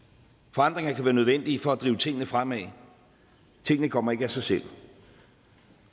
forandringer kan være nødvendige for at drive tingene fremad tingene kommer ikke af sig selv